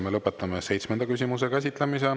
Me lõpetame seitsmenda küsimuse käsitlemise.